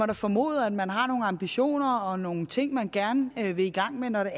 da formode at man har nogle ambitioner og nogle ting som man gerne vil i gang med når